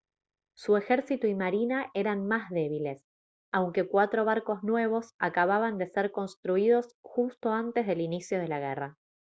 su ejército y marina eran más débiles aunque cuatro barcos nuevos acababan de ser construidos justo antes del inicio de la guerra